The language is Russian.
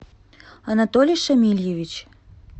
анатолий шамильевич